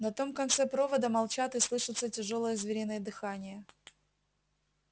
на том конце провода молчат и слышится тяжёлое звериное дыхание